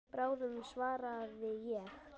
Bráðum svaraði ég.